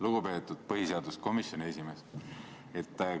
Lugupeetud põhiseaduskomisjoni esimees!